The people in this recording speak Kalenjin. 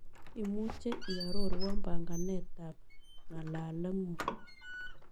Imuche iaroruon panganetap ng'aalaleng'un